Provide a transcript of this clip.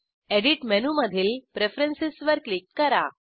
edit मेनूमधील preference वर click करा